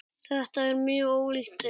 Þetta er mjög ólíkt þeirri